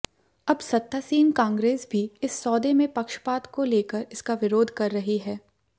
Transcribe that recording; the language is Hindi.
अब सत्तासीन कांग्रेस भी इस सौदे में पक्षपात को लेकर इसका विरोध कर रही है